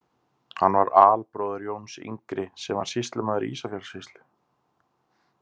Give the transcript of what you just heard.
Hann var albróðir Jóns yngri, sem var sýslumaður í Ísafjarðarsýslu.